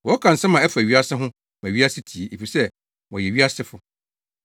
Wɔka nsɛm a ɛfa wiase ho ma wiase tie, efisɛ wɔyɛ wiasefo.